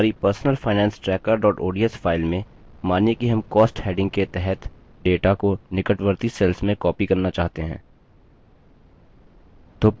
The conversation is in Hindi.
हमारी personalfinancetracker ods file में मानिए कि हम cost heading के तहत data को निकटवर्ती cells में copy करना चाहते हैं